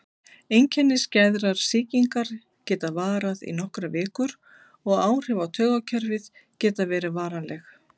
Einkenni skæðrar sýkingar geta varað í nokkrar vikur og áhrif á taugakerfið geta verið varanleg.